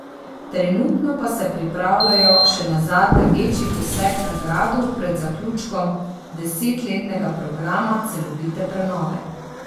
Trenutno pa se pripravljajo še na zadnji večji poseg na gradu pred zaključkom desetletnega programa celovite prenove.